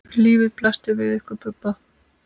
Lífið blasti við ykkur Bubba.